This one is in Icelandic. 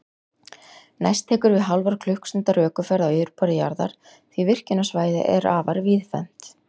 Næst tekur við hálfrar klukkustundar ökuferð á yfirborði jarðar, því virkjunarsvæðið er afar víðfeðmt.